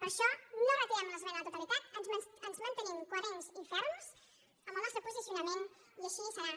per això no retirem l’esmena a la totalitat ens mantenim coherents i ferms en el nostre posicionament i així serà